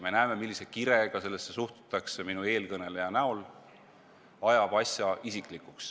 Me nägime, millise kirega sellesse suhtus näiteks eelkõneleja.